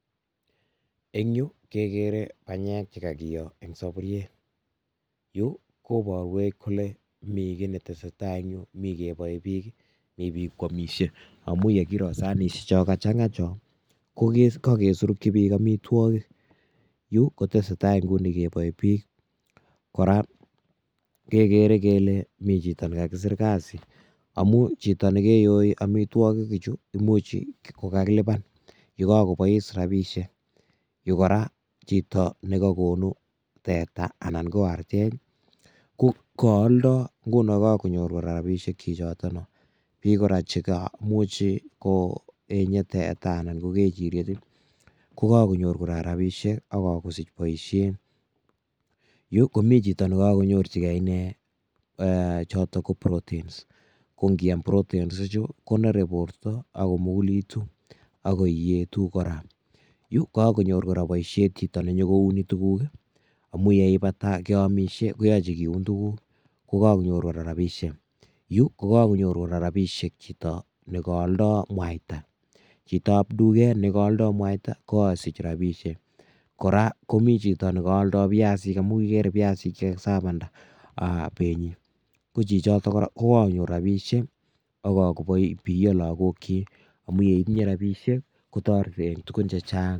Eng' yuu, kegere panyek che kakiyo eng' saburiet. Yu, koborwech kole mii kiy netesetai eng' yuu, mi kebae biik, mi biik kwamisie. Amuu yegiro sanishiek cho kachang'a cho, ko ke kagesurukchi biik amitwogik. Yu kotesetai nguni kebae biik. Kora, kegere kele mii chito ne kakisir kasi, amu chito nekeyoi amitwogik chu, imuchi kokakilipan, ye kakobois rabishiek. Yu kora, chito ne kakonu teta anan ko artet, ko kaaldai. Nguno kakonyor kora rabishiek chichotono. Mii kora chekamuchi koenye teta anan ko kejiriet, kokakonyor kora rabishiek, akakosich boisiet. Yu, komi chito ne kakonyorchikei inee um chotok ko proteins. Ko ngiam proteins chu, konere borto, agomugulitu, ago iyetu kora. Yu, kakonyor kora boisiet chito ne nyikouni tuguk, amuu yeibata keamisie, koyache keun tuguk, kokanyor kora rabishiek. Yu, kokakonyor kora rabishiek chito ne kaaldoi mwaita. Chitob duket ne kaaldoi mwaita, kokasich rabishiek. Kora, komii chito ne kaaldoi piasik amu igere biasik che kakisapanda penyi. Ko chichotok kora, kokakonyor rabishiek, akakobiyo lagokchik. Amu yeitinye rabishiek, kotoreti eng' tugun chechang'.